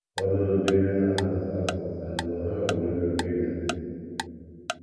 Ụfọdụ n’ime ha na - asụ asụsụ Sango, ha nwekwara obi ụtọ ige ntị.